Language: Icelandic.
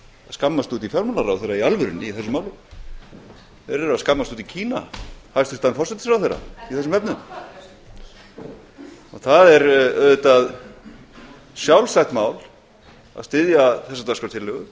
skammast út í fjármálaráðherra í alvörunni í þessu máli þeir eru að skammast út í kína hæstvirtur forsætisráðherra í þessum efnum og það er auðvitað sjálfsagt mál að styðja þessa dagskrártillögu